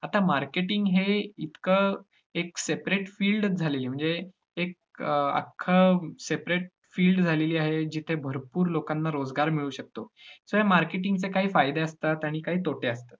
आता marketing हे इतकं एक separate field च झालेली म्हणजे एक अं अख्खं separate field झालेली आहे जिथं भरपूर लोकांना रोजगार मिळू शकतो. तर marketing चे काही फायदे असतात आणि काही तोटे असतात.